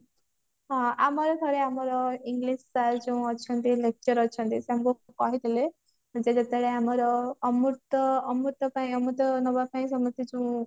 ହଁ ଆମରି ଭଳି ଆମର English sir ଯୋଉ ଅଛନ୍ତି lecture ଅଛନ୍ତି ସେ କହିଥିଲେ ଯେ ଯେତେବେଳେ ଆମର ଅମୃତ ଅମୃତ ପାଇଁ ଅମୃତ ନବା ପାଇଁ ସମସ୍ତେ ଯୋଉ